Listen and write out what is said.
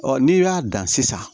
n'i y'a dan sisan